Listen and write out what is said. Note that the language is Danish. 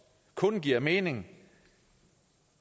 kun giver mening